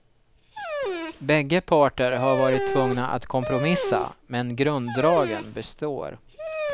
Bägge parter har varit tvungna att kompromissa, men grunddragen består.